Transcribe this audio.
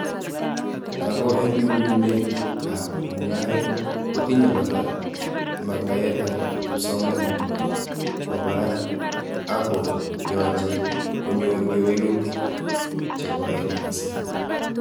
Ako eng nyum nyum met ab mungaret kotiny kora metaet ab kipsomaninik kwa barak ako yache kenyoru kuwelutik che koen mising.